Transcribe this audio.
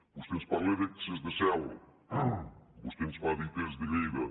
vostè ens parla d’excés de zel vostè ens fa dites de lleida